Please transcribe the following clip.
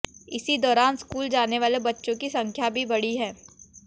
इसी दौरान स्कूल जाने वाले बच्चों की संख्या भी बढ़ी है